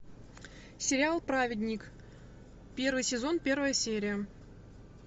сериал праведник первый сезон первая серия